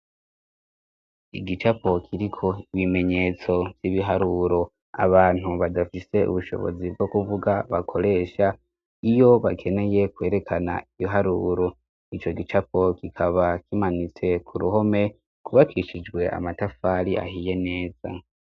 Igicapo kiriko ibimenyetso ry'ibiharuro abantu badafise ubushobozi bwo kuvuga bakoresha iyo bakeneye kwerekana ibiharuro ico gicapo kikaba kimanutse ku ruhome gwubakishijwe amatafari ahiye neza.